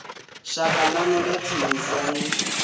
shaka ḽanu ḽa tsinisa ni